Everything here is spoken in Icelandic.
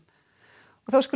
og þá skulum